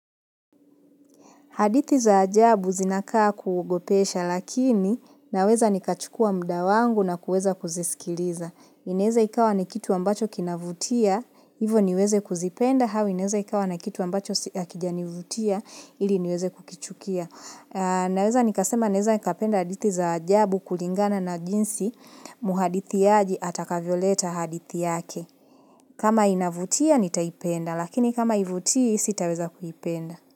Hadithi za ajabu zinakaa kuogopesha, lakini naweza nikachukua mda wangu na kuweza kuzisikiliza. Ineza ikawa ni kitu ambacho kinavutia, hivo niweze kuzipenda, au inaeza ikawa na kitu ambacho si hakijanivutia, ili niweze kukichukia. Naweza nikasema, naeza nikapenda hadithi za ajabu kulingana na jinsi, muhadithiaji atakavyoleta hadithi yake. Kama inavutia, nitaipenda, lakini kama ivutii, sitaweza kuipenda.